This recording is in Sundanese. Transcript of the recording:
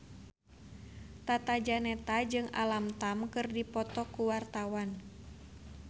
Tata Janeta jeung Alam Tam keur dipoto ku wartawan